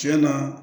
Tiɲɛna